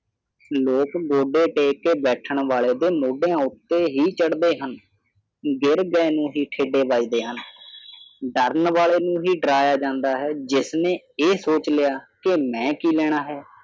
ਲੋਗ ਗੋਡੇ ਟੇਕ ਕੇ ਬੈਠਣ ਵਾਲੇ ਦੇ ਮੋਢਿਆਂ ਉੱਤੇ ਹੀ ਚੜਦੇ ਹਨ ਗਿਰ ਗਏ ਨੂੰ ਹੀ ਠੇਡੇ ਵੱਜਦੇ ਹਨ ਡਰਨ ਵਾਲੇ ਨੂੰ ਹੀ ਡਰਾਇਆ ਜਾਂਦਾ ਹੈ ਜਿਸ ਨੇ ਇਹ ਸੋਚ ਲਿਆ ਕਿ ਮੈਂ ਕੀ ਲੈਣਾ ਹੈ